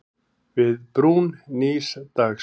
Við brún nýs dags.